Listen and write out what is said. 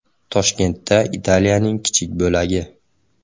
Toshkentda Italiyaning kichik bo‘lagi.